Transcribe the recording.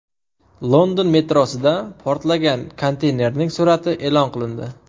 London metrosida portlagan konteynerning surati e’lon qilindi.